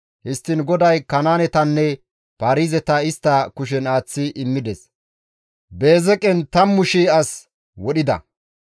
Histtiin GODAY Kanaanetanne Paarizeta istta kushen aaththi immides; Beezeqen 10,000 as wodhida.